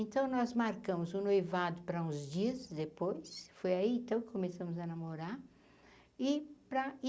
Então nós marcamos um noivado para uns dias depois, foi aí, então que começamos a namorar. e para e